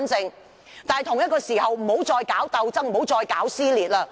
與此同時，大家不要再搞鬥爭，不要再搞撕裂。